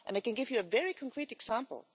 I can give you a very concrete example.